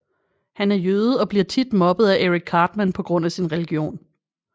Han er jøde og bliver tit mobbet af Eric Cartman på grund af sin religion